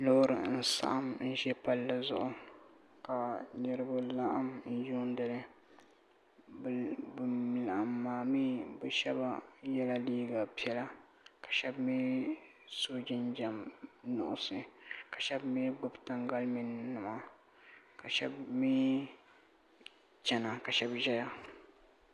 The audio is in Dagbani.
Loori n saɣim n ʒɛ palli zuɣu ka niriba laɣim n yuuni li ban laɣim maa mee bɛ sheba yela liiga piɛla ka sheba mee so jinjiɛm nuɣuso ka sheba mee gbibi tangalimia nima ka sheba mee chena ka sheba zaya.